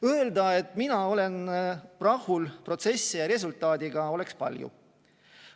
Öelda, et mina olen rahul protsessi ja resultaadiga, oleks palju.